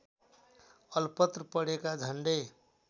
अलपत्र परेका झन्डै